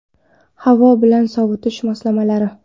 Havo bilan sovitish moslamalari.